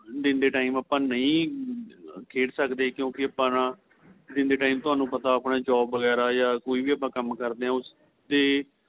ਦਿਨ ਦੇ time ਆਪਾਂ ਨਹੀਂ ਖੇਡ ਸਕਦੇ ਆਪਾਂ ਕਿਉਂਕਿ ਆਪਾਂ ਦਿਨ ਦੇ time ਤੁਹਾਨੂੰ ਪਤਾ ਆਪਣੀ job ਵਗੇਰਾ ਜਾਂ ਕੋਈ ਵੀ ਆਪਾਂ ਕੰਮ ਕਰਦੇ ਏ ਉਸ ਤੇ